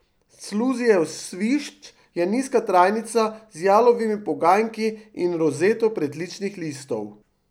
Clusijev svišč je nizka trajnica z jalovimi poganjki in rozeto pritličnih listov.